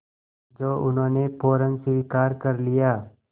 जो उन्होंने फ़ौरन स्वीकार कर लिया